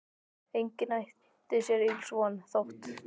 Enginn átti sér ills von, þótt